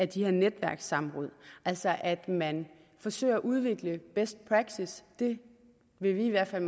de her netværkssamråd altså at man forsøger at udvikle best practice det vil vi i hvert fald